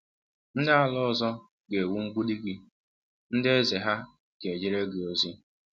Ndị ala ọzọ ga-ewu mgbidi gị, ndị eze ha ga-ejere gị ozi.